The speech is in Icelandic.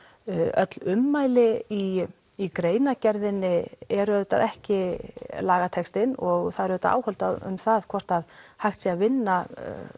öll ummæli í í greinargerðinni eru auðvitað ekki lagatextinn og það eru auðvitað áhöld um það hvort að hægt sé að vinna